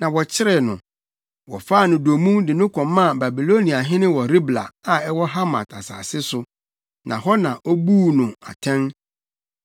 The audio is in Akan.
na wɔkyeree no. Wɔfaa no dommum de no kɔmaa Babiloniahene wɔ Ribla a ɛwɔ Hamat asase so, na hɔ na obuu no atɛn.